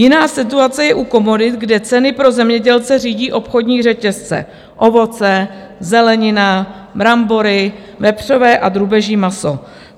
Jiná situace je u komodit, kde ceny pro zemědělce řídí obchodní řetězce - ovoce, zelenina, brambory, vepřové a drůbeží maso.